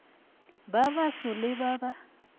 ba baso le ba ba